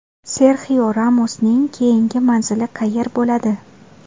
Serxio Ramosning keyingi manzili qayer bo‘ladi?